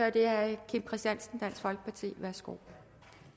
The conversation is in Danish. og det er herre kim christiansen dansk folkeparti værsgo